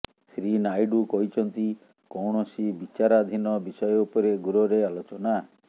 ଶ୍ରୀ ନାଇଡୁ କହିଛନ୍ତି କୌଣସି ବିଚାରାଧୀନ ବିଷୟ ଉପରେ ଗୃହରେ ଆଲୋଚନା